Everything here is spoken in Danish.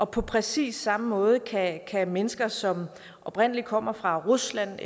på præcis samme måde kan mennesker som oprindelig kommer fra rusland